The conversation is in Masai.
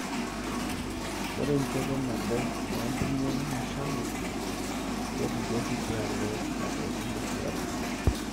Ore enchoto nabo onkirnyany nashalu kepuku oshi tialo lapaitin ashu larin.